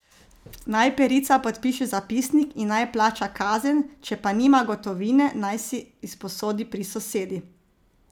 Naj perica podpiše zapisnik in naj plača kazen, če pa nima gotovine, naj si izposodi pri sosedi.